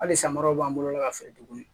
Hali samaraw b'an bolo la ka feere tuguni